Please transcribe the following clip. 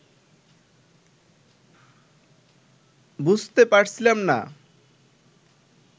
বুঝতে পারছিলাম না